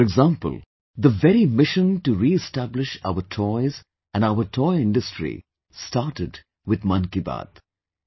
For example, the very mission to reestablish our toys and our toy industry started with 'Mann Ki Baat'